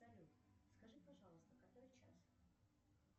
салют скажи пожалуйста который час